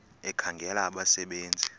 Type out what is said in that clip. ekhangela abasebe nzi